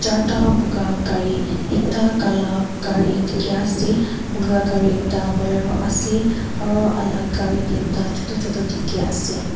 Jarta puka gare ekta gala gare dekhe ase puka gare ekta bolero ase aro alak gare tinta choto choto dekhe ase.